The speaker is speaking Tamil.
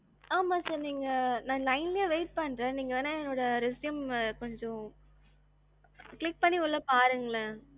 ஆமா sir நீங்க நான் line லையே wait பண்றேன். நீங்க வேணா என்னோட resume கொஞ்சம் click பண்ணி உள்ள பாருங்க.